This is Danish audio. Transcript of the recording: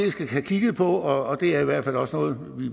have kigget på og det er i hvert fald også noget